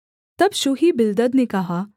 तब शूही बिल्दद ने कहा